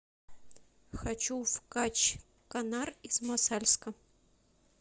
хочу в качканар из мосальска